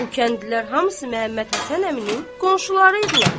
Bu kəndlilər hamısı Məhəmməd Həsən əminin qonşuları idilər.